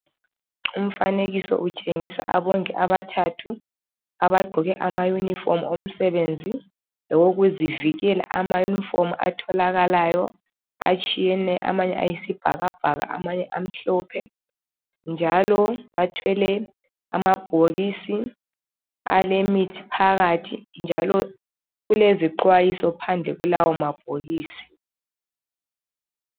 Umfanekiso utshengisa abongi abathathu abagqoke amayunifomu omsebenzi lawokuzivikela amayunifomu atholakalayo atshiyene amanye ayisibhakabhaka amanye amhlophe njalo bathwele amabhokisi alemithi phakathi njalo kulezixwayiso phandle kulawomabhokisi.